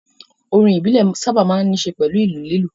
Orin ìbílẹ̀ sáábà máa ń ní ṣe pẹ̀lú ìlù lílù